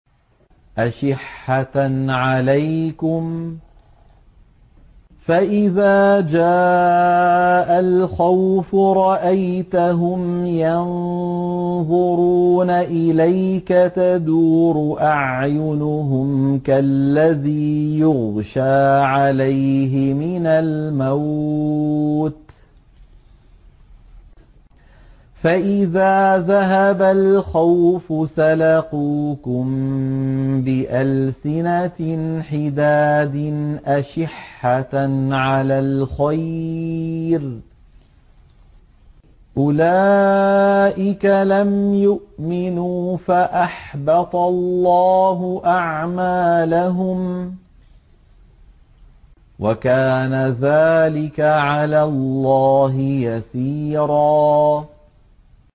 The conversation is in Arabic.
أَشِحَّةً عَلَيْكُمْ ۖ فَإِذَا جَاءَ الْخَوْفُ رَأَيْتَهُمْ يَنظُرُونَ إِلَيْكَ تَدُورُ أَعْيُنُهُمْ كَالَّذِي يُغْشَىٰ عَلَيْهِ مِنَ الْمَوْتِ ۖ فَإِذَا ذَهَبَ الْخَوْفُ سَلَقُوكُم بِأَلْسِنَةٍ حِدَادٍ أَشِحَّةً عَلَى الْخَيْرِ ۚ أُولَٰئِكَ لَمْ يُؤْمِنُوا فَأَحْبَطَ اللَّهُ أَعْمَالَهُمْ ۚ وَكَانَ ذَٰلِكَ عَلَى اللَّهِ يَسِيرًا